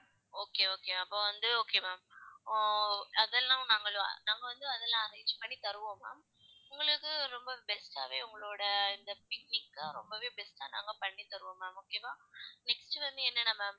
okay okay அப்ப வந்து okay ma'am ஆஹ் அதெல்லாம் நாங்க~ நாங்க வந்து அதெல்லாம் arrange பண்ணி தருவோம் ma'am உங்களுக்கு ரொம்ப best ஆவே உங்களோட இந்த picnic அ ரொம்பவே best ஆ நாங்க பண்ணி தருவம் ma'am okay வா? next வந்து என்னன்னா ma'am